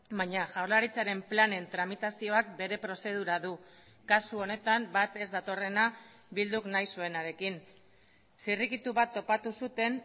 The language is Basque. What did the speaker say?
baina jaurlaritzaren planen tramitazioak bere prozedura du kasu honetan bat ez datorrena bilduk nahi zuenarekin zirrikitu bat topatu zuten